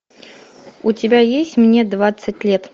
у тебя есть мне двадцать лет